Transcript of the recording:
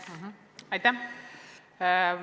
Aitäh!